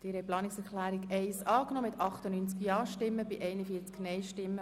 Sie haben die Planungserklärung 1 der FiKoMehrheit angenommen.